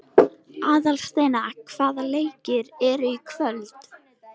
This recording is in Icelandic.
Aðalsteina, hvaða leikir eru í kvöld?